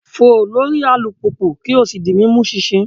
Fo lori alupupu ki o si di mi mu ṣinṣin